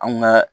An kun bɛ